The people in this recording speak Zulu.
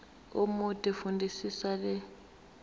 omude fundisisa le